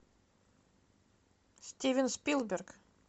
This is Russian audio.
стивен спилберг